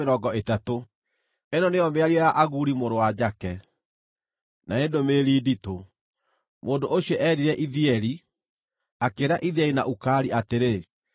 Ĩno nĩyo mĩario ya Aguri mũrũ wa Jake, na nĩ ndũmĩrĩri nditũ: Mũndũ ũcio eerire Ithieli, akĩĩra Ithieli na Ukali atĩrĩ: